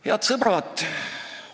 Head sõbrad!